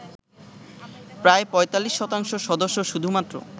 প্রায় ৪৫ শতাংশ সদস্য শুধুমাত্র